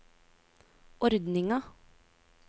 ordninga